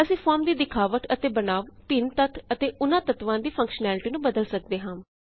ਅਸੀਂ ਫੋਰਮ ਦੀ ਦਿਖਾਵਟ ਅਤੇ ਬਣਾਵ ਭਿੱਨ ਤੱਤ ਅਤੇ ਉਨਾਂ ਤੱਤਵਾਂ ਦੀ ਫੰਕਸ਼ਨੈਲਿਟੀ ਨੂੰ ਬਦਲ ਸਕਦੇ ਹਾਂ